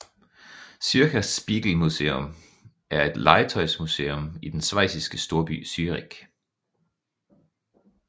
Zürcher Spielzeugmuseum er et legetøjsmuseum i den schweiziske storby Zürich